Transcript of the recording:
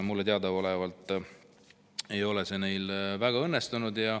Mulle teadaolevalt ei ole see neil väga õnnestunud.